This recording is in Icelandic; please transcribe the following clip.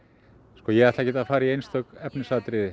sko ég ætla ekkert að fara í einstök efnisatriði